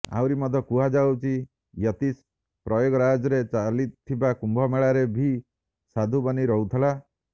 ଆହୁରି ମଧ୍ୟ କୁହାଯାଉଛି ୟତୀଶ ପ୍ରୟାଗରାଜରେ ଚାଲିଥିବା କୁମ୍ଭମେଳାରେ ବି ସାଧୁ ବନି ରହୁଥିଲା